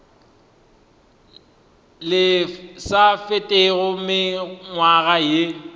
le sa fetego mengwaga ye